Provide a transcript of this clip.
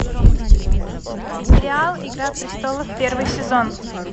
смотреть сериал игра престолов первый сезон